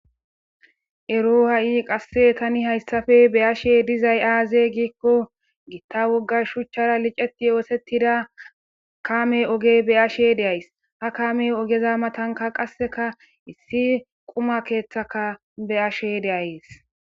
Ero ha'i qasse tani hayssafe beyashe dizay aaze giikko gitta woggar shuchchara liceti yoosettida kame oge beyashe deays ha kame ogeza matanka qasseka issi quma keeththaka beyashe deayes.